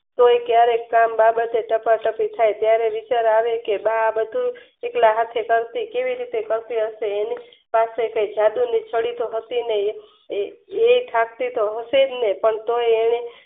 તે ત્યરે ટાકોટકિ થઈ ત્યરે વિચાર આવ્યો કે બા આ બધું એકલા હાથે કરતી કેવી રીતે કરશે એની પાસે તે જાદુ મુશ્કેલી છે એક હાથે તો હશેજ ને